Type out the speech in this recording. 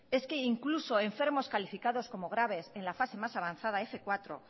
es que incluso enfermos calificados como graves en la fase más avanzada f cuatro